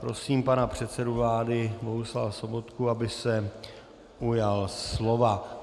Prosím pana předsedu vlády Bohuslava Sobotku, aby se ujal slova.